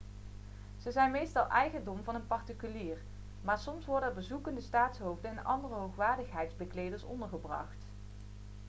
ze zijn meestal eigendom van een particulier maar soms worden er bezoekende staatshoofden en andere hoogwaardigheidsbekleders ondergebracht